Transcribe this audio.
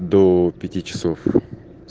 до пяти часов с